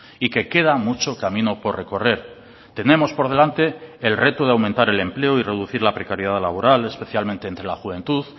y que queda mucho camino por recorrer tenemos por delante el reto de aumentar el empleo y reducir la precariedad laboral especialmente entre la juventud